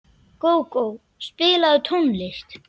Gógó, spilaðu tónlist.